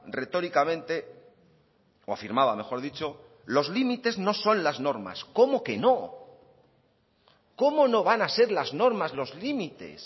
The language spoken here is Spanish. retóricamente o afirmaba mejor dicho los límites no son las normas cómo que no cómo no van a ser las normas los límites